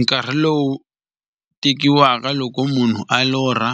Nkarhi lowu tekiwaka loko munhu a lorha,